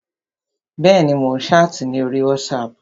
Bẹ́ẹ̀ni, mò ń ṣáàtì ní orí wátísapù